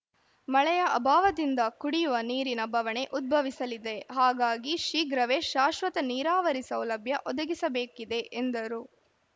ಮಳೆಯ ಅಭಾವದಿಂದ ಕುಡಿಯುವ ನೀರಿನ ಬವಣೆ ಉದ್ಭವಿಸಲಿದೆ ಹಾಗಾಗಿ ಶೀಘ್ರವೇ ಶಾಶ್ವತ ನೀರಾವರಿ ಸೌಲಭ್ಯ ಒದಗಿಸಬೇಕಿದೆ ಎಂದರು